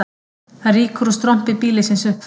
Það rýkur úr strompi býlisins upp frá